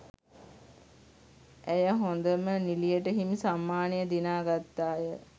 ඇය හොඳම නිළියට හිමි සම්මානය දිනා ගත්තාය